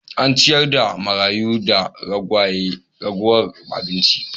An ciyar da marayu da ragowar abinci.